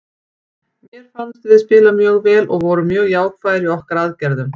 Mér fannst við spila mjög vel og vorum mjög jákvæðir í okkar aðgerðum.